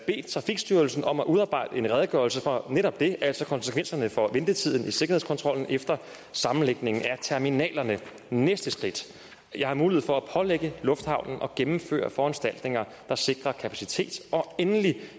trafikstyrelsen om at udarbejde en redegørelse for netop det altså konsekvenserne for ventetiden i sikkerhedskontrollen efter sammenlægningen af terminalerne næste trin jeg har mulighed for at pålægge lufthavnen at gennemføre foranstaltninger der sikrer kapacitet og endelig